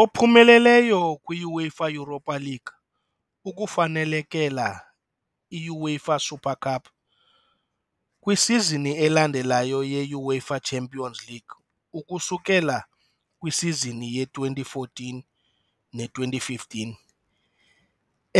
Ophumeleleyo kwi-UEFA Europa League ukufanelekela i-UEFA Super Cup, kwisizini elandelayo yeUEFA Champions League ukusukela kwisizini ye-2014-15,